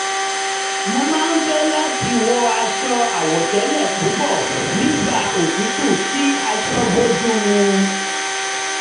mo máa ń fẹ́ láti wọ aṣọ àwọ̀tẹ́lẹ̀ púpọ̀ nígbà òtútù kí aṣọ bójú mu